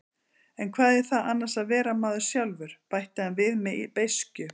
En hvað er það annars að vera maður sjálfur, bætti hann við með beiskju.